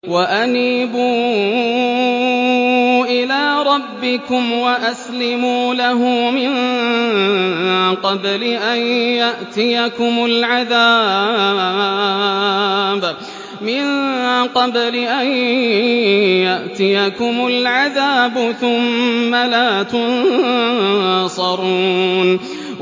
وَأَنِيبُوا إِلَىٰ رَبِّكُمْ وَأَسْلِمُوا لَهُ مِن قَبْلِ أَن يَأْتِيَكُمُ الْعَذَابُ ثُمَّ لَا تُنصَرُونَ